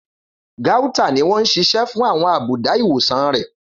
Gauta ni wọ́n ń ṣiṣẹ́ fún àwọn àbùdá ìwòsàn rẹ̀.